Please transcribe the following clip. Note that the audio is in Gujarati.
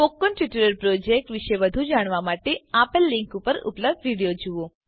સ્પોકન ટ્યુટોરીયલ પ્રોજેક્ટ વિશે વધુ જાણવા માટે આપેલ લીંક પર ઉપલબ્ધ વિડીયો જુઓ